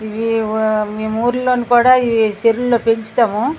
ఇవి మేము ఊరిలో కూడా చెరువులో పెంచుతాము.